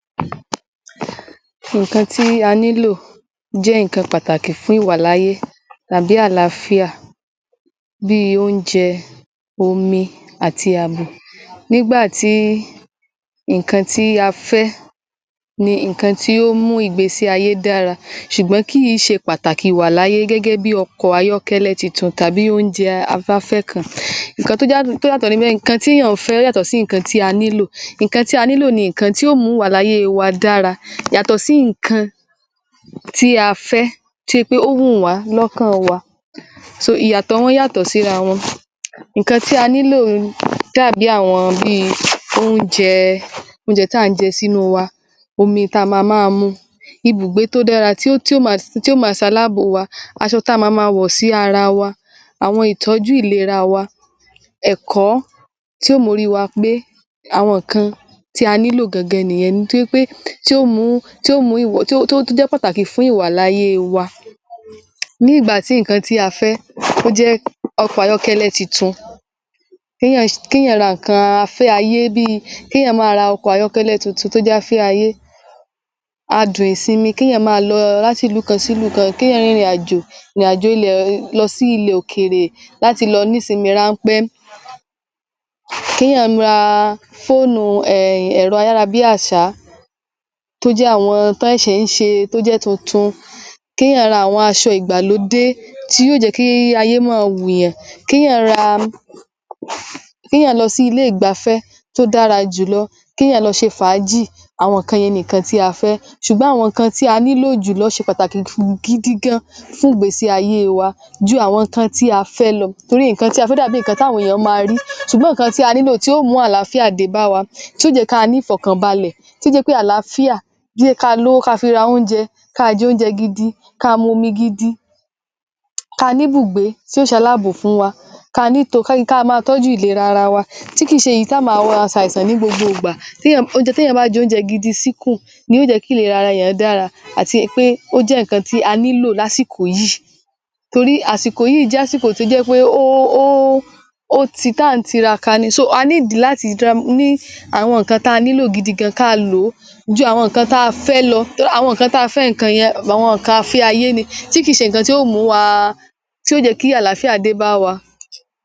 nǹkan tí a nílò jẹ́ nǹkan pàtàkì fún ìwàláyé tàbí àlàáfíà bi oúnjẹ, omi àti ààbò. Nígbà tí nǹkan tí a fẹ́ ni nǹkan tí ó mú ìgbésí ayé dára ṣùgbọ́n kìí ṣe pàtàkì ìwàláyé gẹ́gẹ́ bíi ọkọ̀ ayọ́kẹ́lẹ́ titun tàbí oúnjẹ aláfẹ́ kan. Nǹkan tí a fẹ́ yàtọ̀ sí nǹkan tí a nílò. Nǹkan tí a nílò ni nǹkan tí ó mú ìwàláyé wa dára. Yàtọ̀ si nǹkan tí a fẹ́ tó jẹ́ pé ó wù wá lọ́kàn wa. So, Ìyàtọ̀ wọ́n yàtọ̀ síra wọn. Nǹkan tí a nílò lè dàbí àwọn bíi oúnjẹ, oúnjẹ tá ǹ jẹ sínú wa, omi táa máa mu, ibùgbé tó dára tí ó máa ṣe aláàbò wa, aṣọ tí a maa máa wọ̀ sí ara wa, àwọn ìtọ́jú ìlera wa, ẹ̀kọ́ tí yóò mórí wa pé. Àwọn nǹkan tí a nílò gangan nìyẹn tí o mú, tí o mú, tó tó tó jẹ́ nǹkan tí yó wà fún iwàláyé wa. Bí ìgbà tí nǹkan tí a fẹ́ tó jẹ́ tó jẹ́ ọkọ̀ ayọ́kẹ́lẹ́ titun, kééyàn ra nǹkan afẹ́ ayé bíi kéèyàn máa ra ọkọ̀ ayọ́kẹ́lẹ́ titun to jáfẹ́ ayé. Adùn ìsinmi, kéèyàn máa lọ láti ilukan si ilukan, kéèyàn rìnrìn ààjò lọ sí ilẹ̀ òkèèrè láti lọ nisinmi ráńpẹ́, kèèyàn ra fóònù um ẹ̀rọ ayára-bí-àṣá tó jẹ́ àwọn tí wọn ṣẹ̀ ń ṣe tójẹ́ tuntun, kí èèyàn ra àwọn aṣọ ìgbàlódé tí yó jẹ́ kí ayé mọ́-ọn wùyàn. Kí èèyàn ra, kí èèyàn lọ sí ilé ìgbafẹ́ tó dára jù lọ, kéèyàn lọ ṣe fààájì. Àwọn nǹkan yẹn ni nǹkan tí a fẹ́. Ṣùgbọ́n àwọn nǹkan tí a nílò jùlọ ṣe pàtaki gidi gan-an fún ìgbésí aayé wa ju àwọn nǹkan tí a fẹ́ lọ. Nǹkan tí a fẹ́ dàbi nǹkan tí àwọn èèyàn máa rí, ṣùgbọ́n nǹkan tí a nilò, tì yó mú àlàáfíà dé bá wa, tí yó jẹ́ kí a ni ìfọkànbalẹ̀ tó jẹ́ pé àlàáfíà ni káa mówó ká fi ra oúnjẹ, káa j’oúnjẹ gidi, káa momi gidi, káa ní bùgbé tí yó ṣe aláàbò fùn wa, káa ni to ké, káa máa tọ́jú ìlera ara wa, tí kìí ṣe èyí tá máa ṣàìsàn ní gbogbo ìgbà. Oúnjẹ, téèyàn bá j’oúnjẹ gidi síkùn ni yó jẹ́ kí ìlera rẹ̀ dára ni pé ó jẹ́ nǹkan tí a nílò lásìkò yìí. Torí àsìkò yìí jẹ́ èyí, ó j’ásìkò tó jẹ́ pé o, o ti n táà ń tiraka ni. A need láti ní àwọn nǹkan táa nílò gidi gan-an káa lò ó ju àwọn nǹkan tí a fẹ́ lọ. Àwọn nǹkan táa fẹ́ àwọn nǹkan a fẹ́ tí kì í ṣe nǹkan tí yóó mú wa tí yó jẹ́ kí àlàáfíà dé bá wa.